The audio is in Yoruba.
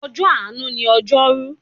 Ọjọ́ àánú ni ojoru.